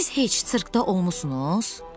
Siz heç sirkdə olmusunuz?